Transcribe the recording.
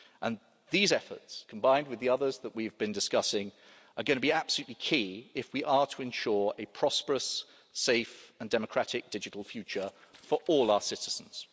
And these efforts, combined with the others that we have been discussing, are going to be absolutely key if we are to ensure a prosperous, safe and democratic digital future for all our citizens.